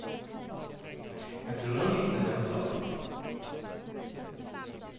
Jeg tror han likte det han så.